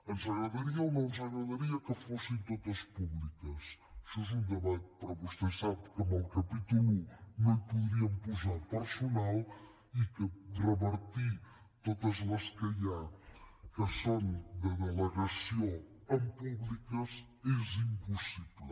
ens agradaria o no ens agradaria que fossin totes públiques això és un debat però vostè sap que en el capítol i no hi podríem posar personal i que convertir totes les que hi ha que són de delegació en públiques és impossible